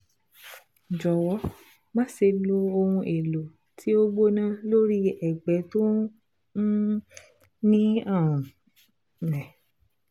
Jọ̀wọ́ máṣe lo ohun èlò tí ó gbóná lórí ẹ̀gbẹ́ tí ó um ní ààrùn um